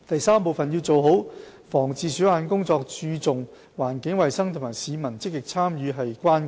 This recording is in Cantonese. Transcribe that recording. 三要做好防治鼠患的工作，注重環境衞生及市民積極參與是關鍵。